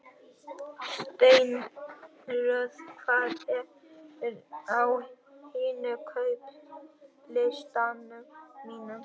Steinröður, hvað er á innkaupalistanum mínum?